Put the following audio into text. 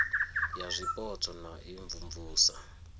ya zwipotso na u imvumvusa